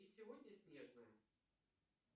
и сегодня снежная